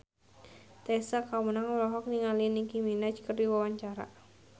Tessa Kaunang olohok ningali Nicky Minaj keur diwawancara